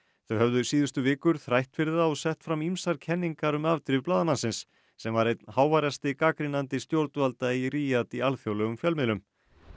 þau höfðu síðustu vikur þrætt fyrir það og sett fram ýmsar kenningar um afdrif blaðamannsins sem var einn háværasti gagnrýnandi stjórnvalda í Ríad í alþjóðlegum fjölmiðlum